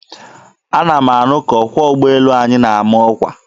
Ana m anụ ka ọkwọ ugboelu anyị na-ama ọkwa.